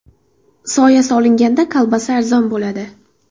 Soya solinganda kolbasa arzon bo‘ladi.